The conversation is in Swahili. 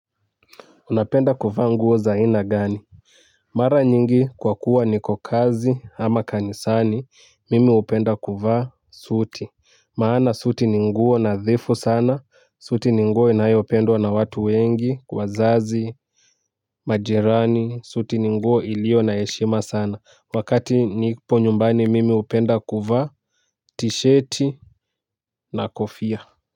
Unapenda kuvaa nguo za ina gani. Mara nyingi kwa kuwa niko kazi ama kanisani mimi upenda kuvaa suti. Maana suti ninguo nadhifu sana suti ni nguo inayopendwa na watu wengi kwa zazi majirani suti ni nguo iliyo na heshima sana wakati nipo nyumbani mimi hupenda kuvaa tisheti na kofia.